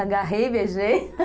Agarrei e beijei